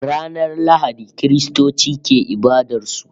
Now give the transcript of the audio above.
Ranar Lahadi Kiristoci ke ibadar su